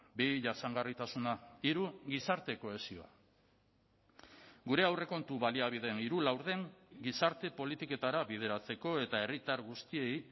bi jasangarritasuna hiru gizarte kohesioa gure aurrekontu baliabideen hiru laurden gizarte politiketara bideratzeko eta herritar guztiei